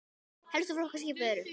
Helstu flokkar skipa eru